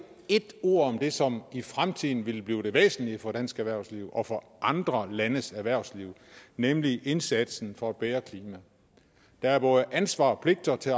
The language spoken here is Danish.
et ord om det som i fremtiden vil blive det væsentlige for dansk erhvervsliv og for andre landes erhvervsliv nemlig indsatsen for et bedre klima der er både ansvar og pligter til